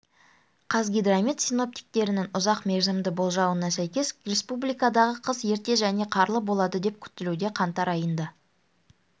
қазгидромет синоптиктерінің ұзақ мерзімді болжауына сәйкес республикадағы қыс ерте және қарлы болады деп күтілуде қаңтар айында